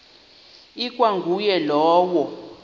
ikwa nguye lowo